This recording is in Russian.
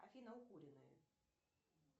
афина укуренные